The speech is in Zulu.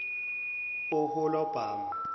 oholabhama